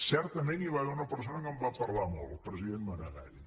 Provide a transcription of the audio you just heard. certament hi va haver una persona que en va parlar molt el president maragall